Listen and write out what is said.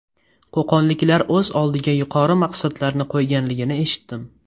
Qo‘qonliklar o‘z oldiga yuqori maqsadlarni qo‘yganligini eshitdim.